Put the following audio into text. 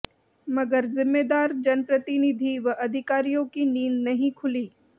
मगर जिम्मेदार जनप्रतिनिधि व अधिकारियों की नींद नहीं खुली